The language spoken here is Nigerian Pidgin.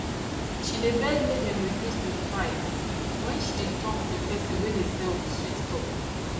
she dey beg make dem reduce the price when she dey talk the person wey dey sell with sweet talk